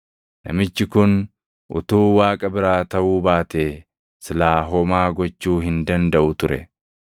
Namichi kun utuu Waaqa biraa taʼuu baatee silaa homaa gochuu hin dandaʼu ture.”